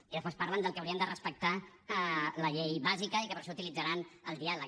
i després parlen de que hauríem de respectar la llei bàsica i que per això utilitzaran el diàleg